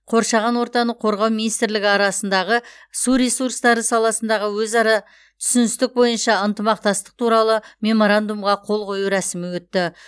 қоршаған ортаны қорғау министрлігі арасындағы су ресурстары саласындағы өзара түсіністік бойынша ынтымақтастық туралы меморандумға қол қою рәсімі өтті